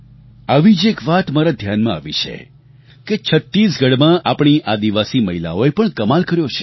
આવી જ એક વાત મારા ધ્યાનમાં આવી છે કે છત્તીસગઢમાં આપણી આદિવાસી મહિલાઓએ પણ કમાલ કર્યો છે